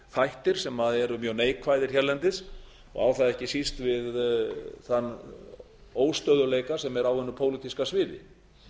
þættir sem eru mjög neikvæðir hérlendis og á það ekki síst við þann óstöðugleika sem er á hinu pólitíska sviði